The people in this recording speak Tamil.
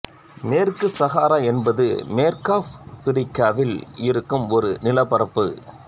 மேற்கு சகாரா என்பது மேற்கு ஆப்பிரிக்காவில் இருக்கும் ஒரு நிலப்பரப்பு